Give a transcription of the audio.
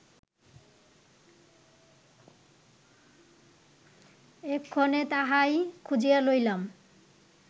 এক্ষণে তাহাই খুঁজিয়া লইলাম